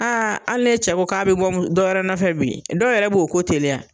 Aa hali ni e cɛ ko k'a be bɔ dɔwɛrɛ nɔfɛ bi , dɔw yɛrɛ b'o ko teliya.